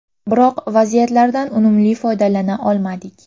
Biroq vaziyatlardan unumli foydalana olmadik.